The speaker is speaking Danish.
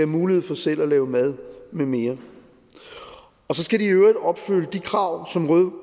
mulighed for selv at lave mad med mere og så skal de i øvrigt opfylde de krav som røde